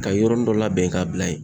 Ka yɔrɔnin dɔ labɛn k'a bila ye